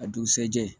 A dugusajɛ